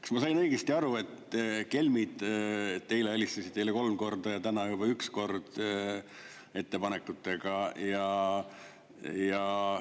Kas ma sain õigesti aru, et kelmid teile helistasid eile kolm korda ja täna juba üks kord ettepanekutega?